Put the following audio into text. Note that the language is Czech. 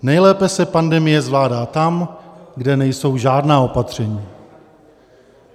Nejlépe se pandemie zvládá tam, kde nejsou žádná opatření.